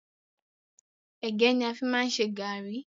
Ẹ̀gẹ́ ni a fi máa ń ṣe gàárì.